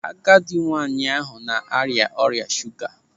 Agadi nwaanyị ahụ ọ arịa ọrịa shuga?